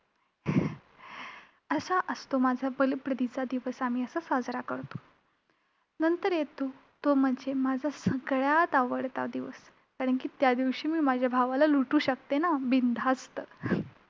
असा असतो माझा बलिप्रतिचा दिवस आम्ही असा साजरा करतो. नंतर येतो तो म्हणजे माझा सगळ्यात आवडता दिवस, कारण की त्यादिवशी मी माझ्या भावाला लुटू शकते ना बिनधास्त!